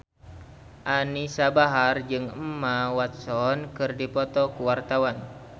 Anisa Bahar jeung Emma Watson keur dipoto ku wartawan